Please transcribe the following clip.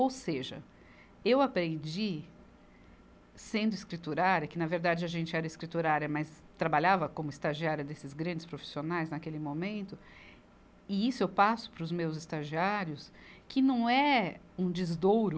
Ou seja, eu aprendi, sendo escriturária, que na verdade a gente era escriturária, mas trabalhava como estagiária desses grandes profissionais naquele momento, e isso eu passo para os meus estagiários, que não é um desdouro,